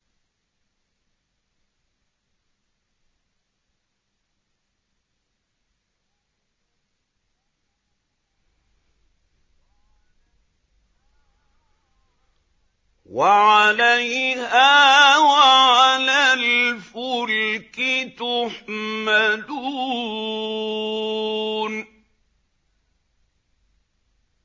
وَعَلَيْهَا وَعَلَى الْفُلْكِ تُحْمَلُونَ